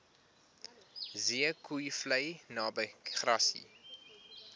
zeekoevlei naby grassy